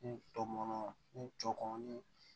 N tɔmɔnɔ n jɔ kɔnɔ ni